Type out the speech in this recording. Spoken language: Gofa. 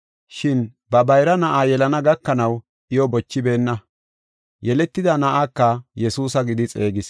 Shin ba bayra na7a yelana gakanaw iyo bochibeenna; yeletida na7aka Yesuusa gidi xeegis.